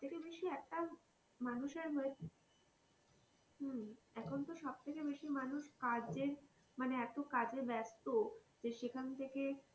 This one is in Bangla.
সবথেকে বেশি একটা মানুষের হম এখন তো সবথেকে বেশি মানুষ কাজে মানে এতো কাজে ব্যাস্ত যে সেখান থেকে,